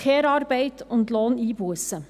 Care-Arbeit und Lohneinbussen: